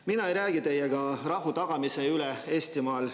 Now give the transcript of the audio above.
Mina ei räägi teiega rahu tagamise üle Eestimaal.